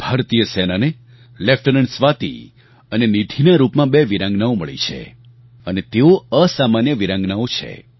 ભારતીય સેનાને લેફ્ટેનન્ટ સ્વાતિ અને નીધિના રૂપમાં બે વીરાંગનાઓ મળી છે અને તેઓ અસામાન્ય વીરાંગનાઓ છે